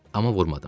Amma vurmadım.